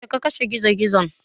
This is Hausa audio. Yaushe ka kashe Gizo-gizon?